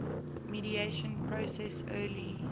mediation process early